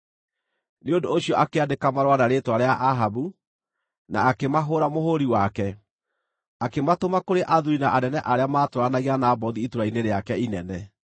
Nĩ ũndũ ũcio akĩandĩka marũa na rĩĩtwa rĩa Ahabu, na akĩmahũũra mũhũũri wake, akĩmatũma kũrĩ athuuri na anene arĩa maatũũranagia na Nabothu itũũra-inĩ rĩake inene.